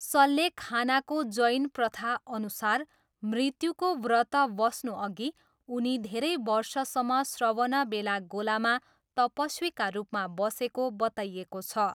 सल्लेखानाको जैन प्रथाअनुसार मृत्युको व्रत बस्नुअघि उनी धेरै वर्षसम्म श्रवणबेलागोलामा तपस्वीका रूपमा बसेको बताइएको छ।